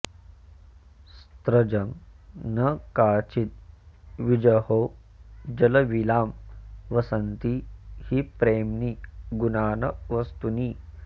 स्रजं न काचिद् विजहौ जलाविलां वसन्ति हि प्रेम्णि गुणा न वस्तुनि